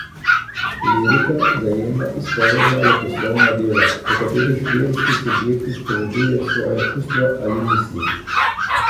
Lirika zajema izpovedna leposlovna dela, v katerih lirski subjekt izpoveduje svoja čustva ali misli.